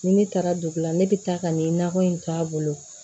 Ni ne taara dugu la ne bɛ taa ka nin nakɔ in to a bolo